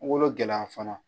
gɛlɛya fana